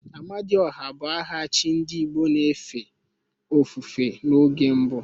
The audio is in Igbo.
Amadiọha bụ aha chi ndị igbo na-efe ofufe n'oge mbu